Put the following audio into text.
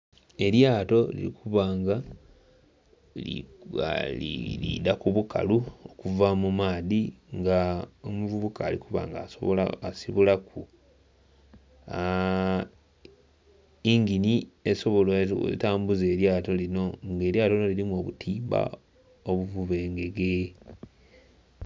Elyato liri kuba nga lidha ku bukalu okuva mu maadhi nga omuvubuka ali kuba nga asobola... asibulaku yingini etambuza elyato lino nga elyato lino lirimu obutimba obuvuba engege.